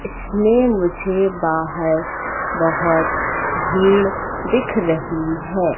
इसमें मुझे बाहर बहुत भीड़ दिख रही है।